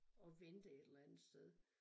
Og vente et eller andet sted